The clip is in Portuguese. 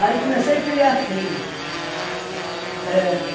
comecei a criar filhos. É.